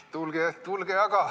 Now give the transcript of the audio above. Tulge aga!